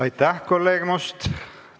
Aitäh, kolleeg Must!